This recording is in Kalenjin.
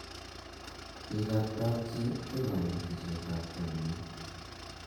bik ab kap chi ko kanetishiet ab chamiet